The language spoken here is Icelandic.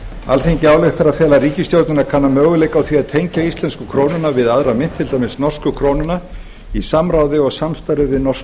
alþingi ályktar að fela ríkisstjórninni að kanna möguleika á því að tengja íslensku krónuna við aðra mynt til dæmis norsku krónuna í samráði og samstarfi við norsk